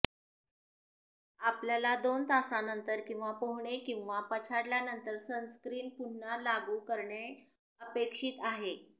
आपल्याला दोन तासांनंतर किंवा पोहणे किंवा पछाडल्यानंतर सनस्क्रीन पुन्हा लागू करणे अपेक्षित आहे